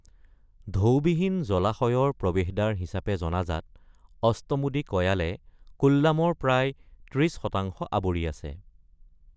ঢৌ বিহীন জলাশয়ৰ প্ৰৱেশদ্বাৰ হিচাপে জনাজাত অষ্টমুদি কয়ালে কোল্লামৰ প্ৰায় ৩০ শতাংশ আৱৰি আছে।